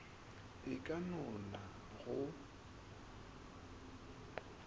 e ka no na go